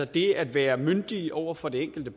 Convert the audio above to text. det at være myndige over for det enkelte